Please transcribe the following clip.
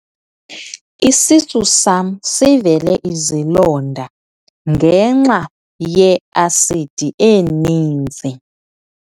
Isisu sam sivele izilonda ngenxa yeasidi eninzi.